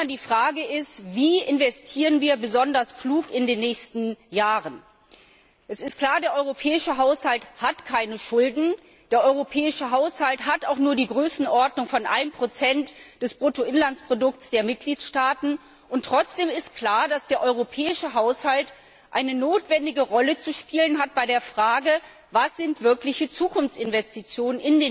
Die Frage ist Wie investieren wir besonders klug in den nächsten Jahren? Es ist klar, der europäische Haushalt hat keine Schulden, er hat auch nur die Größenordnung von 1 des Bruttoinlandsprodukts der Mitgliedstaaten, und trotzdem ist klar, dass der europäische Haushalt eine notwendige Rolle zu spielen hat bei der Frage, was in den nächsten Jahren wirkliche Zukunftsinvestitionen